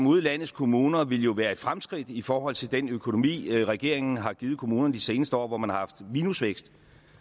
ude i landets kommuner ville jo være et fremskridt i forhold til den økonomi regeringen har givet kommunerne de seneste år hvor man har haft minusvækst